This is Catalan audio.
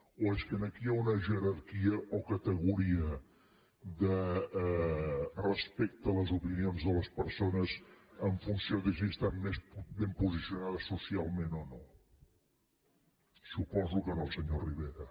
o és que aquí hi ha una jerarquia o categoria respecte a les opinions de les persones en funció de si estan més ben posicionades socialment o no suposo que no senyor rivera